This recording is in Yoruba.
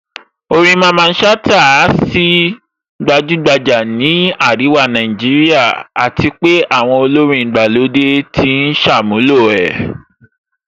Orin Mamman Shata á sì gbajúgbajà ní àríwá Nàìjíríà àti pé àwọn olórin ìgbàlódé ti ń ṣàmúlò ẹ̀